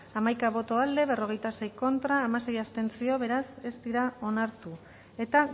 hamaika boto aldekoa berrogeita sei contra hamasei abstentzio beraz ez dira onartu eta